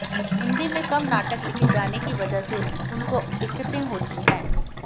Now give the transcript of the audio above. हिंदी में कम नाटक लिखे जाने की वजह से उनको दिक्कतें होती हैं